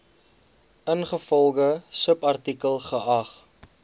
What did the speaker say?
ingevolge subartikel geag